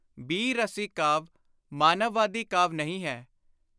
ਬੀਰ-ਰਸੀ ਕਾਵਿ ਮਾਨਵਵਾਦੀ ਕਾਵਿ ਨਹੀਂ ਹੈ।